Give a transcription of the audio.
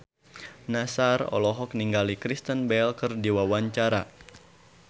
Nassar olohok ningali Kristen Bell keur diwawancara